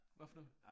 Hvad for noget?